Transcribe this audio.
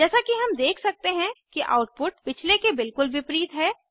जैसा कि हम देख सकते हैं कि आउटपुट पिछले के बिलकुल विपरीत है